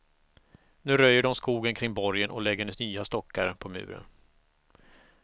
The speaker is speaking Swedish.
Nu röjer de skogen kring borgen och lägger nya stockar på muren.